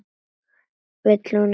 Vill hún ekki koma inn?